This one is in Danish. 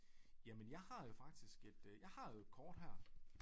Jamen jeg har jo faktisk et øh jeg har jo et kort her